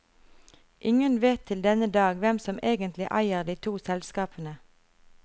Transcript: Ingen vet til denne dag hvem som egentlig eier de to selskapene.